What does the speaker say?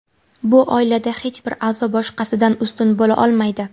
Bu oilada hech bir a’zo boshqasidan ustun bo‘la olmaydi.